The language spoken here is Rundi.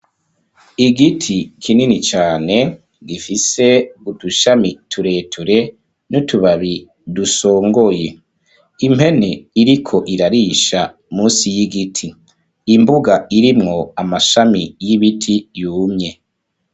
Igiti kinini cane gifise udushami tureture n'utubabi dusongoye. Impene iriko irarisha musi y'igiti. Imbuga irimwo amashami y'ibiti yumye.